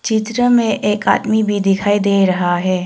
चित्र में एक आदमी भी दिखाई दे रहा है।